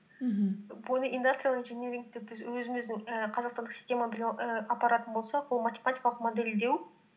мхм бұны индастриал инжинирингті біз өзіміздің ііі қазақстандық система білім ііі апаратын болсақ ол математикалық модельдеу